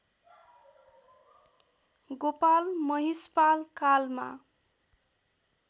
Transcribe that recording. गोपाल महिषपाल कालमा